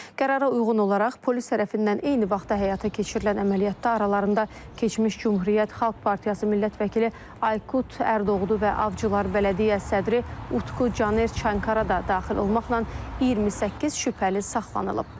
Qərara uyğun olaraq polis tərəfindən eyni vaxtda həyata keçirilən əməliyyatda aralarında keçmiş Cümhuriyyət Xalq Partiyası millət vəkili Aykut Erdoğdu və Avcılar bələdiyyə sədri Utku Caner Çankara da daxil olmaqla 28 şübhəli saxlanılıb.